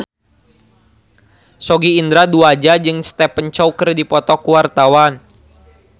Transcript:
Sogi Indra Duaja jeung Stephen Chow keur dipoto ku wartawan